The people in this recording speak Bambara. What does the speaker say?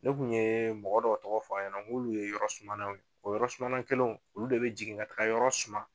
Ne kun ye mɔgɔ dɔw tɔgɔ f'a ɲɛna n k'olu ye yɔrɔ sumana ye o yɔrɔ sumana kelenw olu de be jigin ka taa yɔrɔ suma